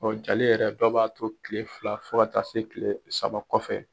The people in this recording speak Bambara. Ɔ jali yɛrɛ, dɔw b'a to kile fila fo ka taa se kile saba kɔfɛ.